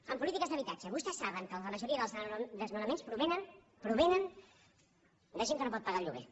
en polítiques d’habitatge vostès saben que la majoria dels desnonaments provenen de gent que no pot pagar el lloguer